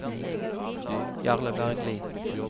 Jarle Bergli